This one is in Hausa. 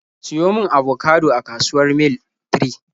Siyo mun abokado a kasuwar Mil 3!